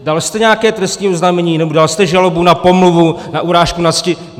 Dal jste nějaké trestní oznámení nebo dal jste žalobu na pomluvu, na urážku na cti?